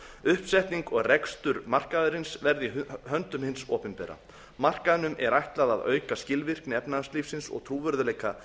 uppsetning og rekstur markaðarins verði í höndum hins opinbera markaðnum er ætlað að auka skilvirkni efnahagslífsins og trúverðugleika